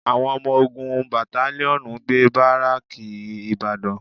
Àwọn ọmọ ogun batalíọ̀nù ń gbé bárékè ìbàdàn